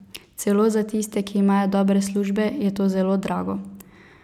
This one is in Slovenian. Celo za tiste, ki imajo dobre službe, je to zelo drago.